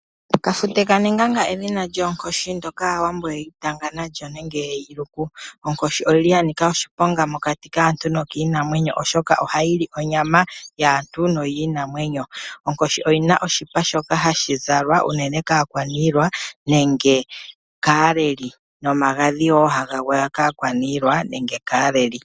Kafute kanenganga edhina lyoOnkoshi ndyoka, Aawambo yeli tanga nalyo nenge yeli luku. Onkoshi oyili yanika oshiponga mokati kaantu nokinamwenyo oshoka oha yili onyama yaantu noyiinamwenyo. onkoshi oyina oshipa shoka hashi zalwa unene kaAkwanilwa nenge kaAleli, nomagadhi wo haga gwaya kaAkwaniilwai nenge kaAleli.